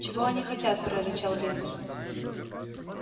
чего они хотят прорычал венус